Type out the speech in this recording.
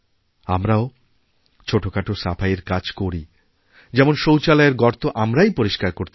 আমরাও ছোটখাট সাফাইয়ের কাজ করি যেমন শৌচালয়ের গর্তআমরাই পরিস্কার করতে পারি